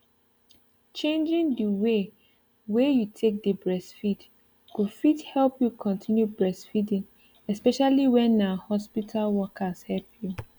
changing the way wey you take dey breastfeed go fit help you continue breastfeeding especially when na hospital workers help you